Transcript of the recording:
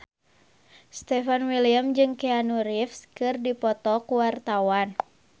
Stefan William jeung Keanu Reeves keur dipoto ku wartawan